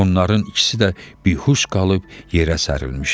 Onların ikisi də bihuş qalıb yerə sərilmişdi.